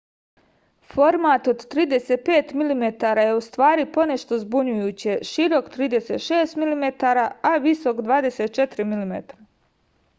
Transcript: format od 35 mm je ustvari ponešto zbunjujuće širok 36 mm a visok 24 mm